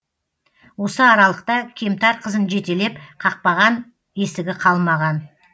осы аралықта кемтар қызын жетелеп қақпаған есігі қалмаған